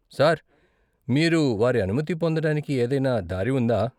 Sir, మీరు వారి అనుమతి పొందడానికి ఏదైనా దారి ఉందా?